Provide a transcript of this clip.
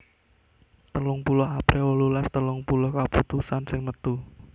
telung puluh april wolulas telung puluh kaputusan wis metu